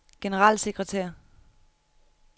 generalsekretær